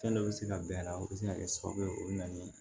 Fɛn dɔ bɛ se ka bɛn a la o bɛ se ka kɛ sababu ye o bɛ na ni